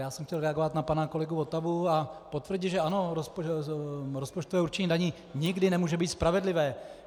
Já jsem chtěl reagovat na pana kolegu Votavu a potvrdit, že ano, rozpočtové určení daní nikdy nemůže být spravedlivé.